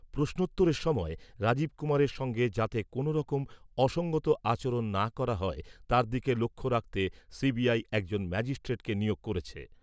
প্রশ্নোত্তরের সময় রাজীব কুমারের সঙ্গে যাতে কোনওরকম অসঙ্গত আচরণ না করা হয়, তার দিকে লক্ষ্য রাখতে সিবিআই, একজন ম্যাজিস্ট্রেটকে নিয়োগ করেছে।